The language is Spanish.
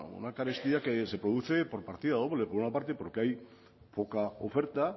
una carestía que se produce por partida doble por una parte porque hay poca oferta